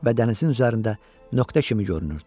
Və dənizin üzərində nöqtə kimi görünürdü.